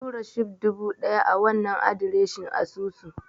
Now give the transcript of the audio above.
Tura Shib dubu ɗaya a wannan adireshin asusun.